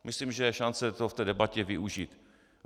Myslím, že je šance to v té debatě využít.